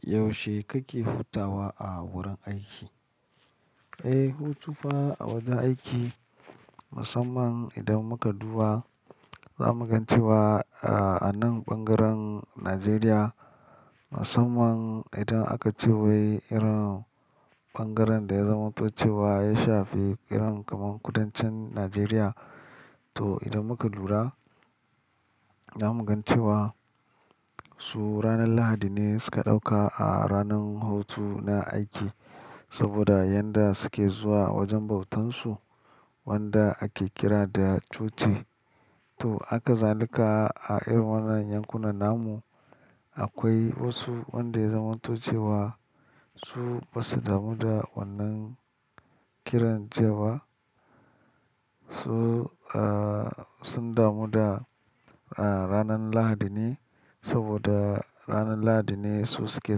Yaushe kake hutawa a wurin aiki? Eh, hutu fa a wajen aiki musamman idan muka duba, za mu gan cewa a anan ɓangaren Najeriya musamman idan aka ce wai irin ɓangaren da ya zamantoce wa ya shafi irin kaman kudancin Najeriya. To, idan muka lura za mu gan cewa su ranan Lahadi ne suka ɗauka a ranan hutu na aiki saboda yanda suke zuwa wajen bautansu wanda ake kira da coci. To, haka zalika a irin wannan yankunan namu akwai wasu wanda ya zamantoce wa su ba su damu da wannan kiran ce wa. Su, ah, sun damu da a ranan Lahadi ne saboda ranan Lahadi ne su suke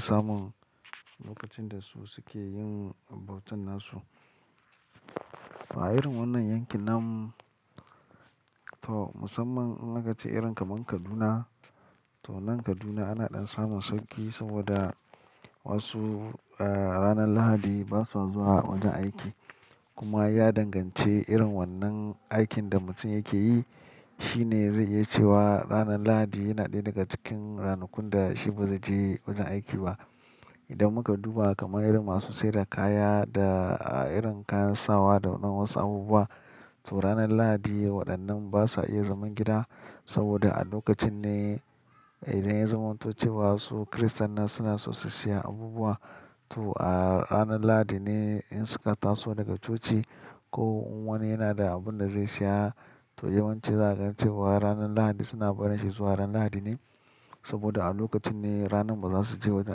samun lokacin da su suke yin bautan nasu. A irin wannan yanki nam, to musamman in aka ce irin kaman Kaduna, to nan Kaduna ana ɗan samun sauƙi saboda wasu, ah, ranan Lahadi ba sua zuwa wajen aiki. Kuma ya dangance irin wannan aikin da mutun yake yi. Shi ne zai iya cewa ranan Lahadi yana ɗaya daga cikin ranakun da shi ba zai je wajen aiki ba. Idan muka duba kaman irin masu sai da kaya da irin kayan sawa da na wasu abubuwa, to ranan Lahadi waɗannan ba sa iya zaman gida saboda a lokacin ne idan ya zamantoce wa su Kiristannan suna so su siya abubuwa. To, a ranan Lahadi ne in suka taso daga coci ko wani yana da abun da zai siya to yawanci za a gan cewa ranan Lahadi suna barin shi zuwa ran Lahadi ne saboda a lokacin ne ranan ba za su je wajen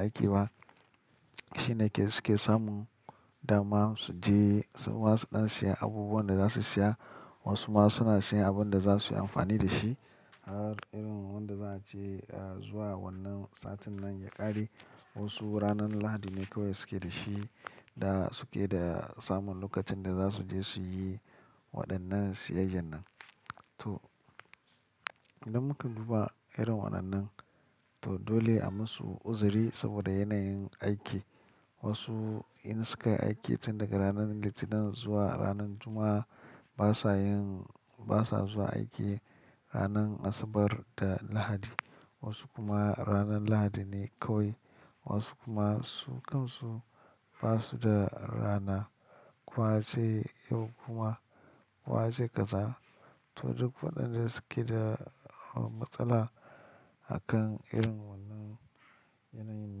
aiki ba. Shi ne ke suke samun dama su je suma su ɗan siya abubuwan da za su siya wasu ma suna siyan abun da za su yi amfani da shi. Irin wanda za a ce zuwa wannan satin nan ya ƙare. Wasu ranan Lahadi ne kawai suke da shi da suke da samun lokacin da za su je su yi waɗannan siyayyan nan. To, idan mukan duba irin waɗannan, to dole a musu uzuri saboda yanayin aiki. Wasu in suka yi aiki tun daga ranan Litinin zuwa ranan Juma'a ba sa yin, ba sa zuwa aiki ranan Asabar da Lahadi. Wasu kuma ranar Lahadi ne kawai. Wasu kuma su kansu ba su da rana. Ko wase in kuma kiwase kaza. To, duk waɗanda suke da matsala a kan irin wannan yanayin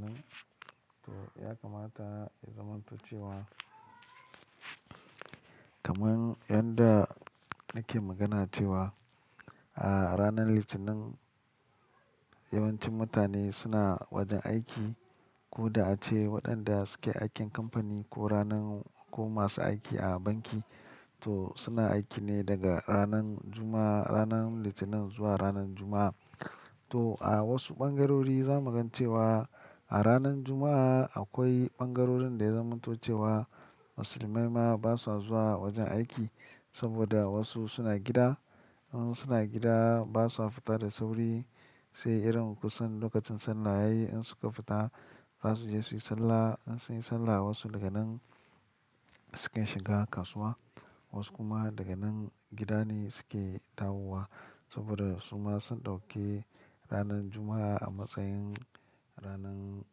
nan, to ya kamata ya zamantuce wa kaman yanda nake magana cewa a ranan Litinin yawancin mutane suna wajen aiki. Ko da ace waɗanda suke yi aikin kamfani ko ranan-- ko masu aiki a banki to suna aiki ne daga ranan Juma'a-- ranan Litinin zuwa ranan Juma'a. To, a wasu ɓangarori za mu gan cewa a ranan Juma'a akwai ɓangarorin da ya zamantocewa Musulmai ma ba sa zuwa wajen aiki saboda wasu suna gida. In suna gida ba sua fita da sauri sai irin kusan lokacin Salla yayi in suka fita za su je su yi Sallah. In su yi Sallah wasu daga nan sukan shiga kasuwa wasu kuma daga nan gida ne suke dawowa saboda su ma sun ɗauke ranan Juma'a a matsayin ranan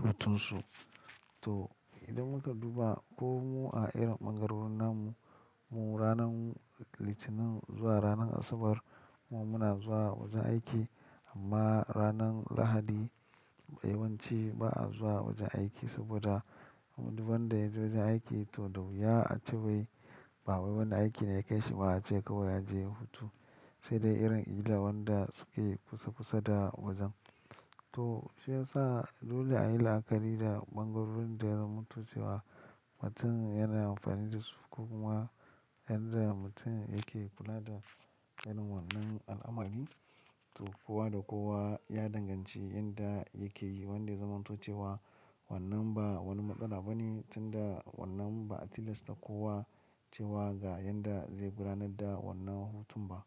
hutunsu. To, idan muka duba ko mu a irin ɓangarorin namu, mu ranan Litinin zuwa ranan Asabar mu muna zuwa wajen aiki amma ranan Lahadi yawanci ba a zuwa wajen aiki saboda du wanda yaje wajen aiki to da wuya a ce wai ba wai wani aiki ne ya kai shi ba a ce kawai a je hutu. Sai dai irin illa wanda suke kusakusa da wajen. To, shi ya sa dole a yi la'akari da ɓangarorin da ya zamantoce wa mutun yana amfani da su ko kuma yanda mutun yake kula da irin wannan al'amari. To, kowa da kowa ya danganci yanda yake yi wanda ya zamantoce wa wannan ba wani matsala ba ne tunda wannan ba a tilasta kowa cewa ga yanda zai gudanar da wannan hutun ba.